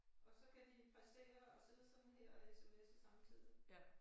Og så kan de præstere at sidde sådan her og sms'e samtidig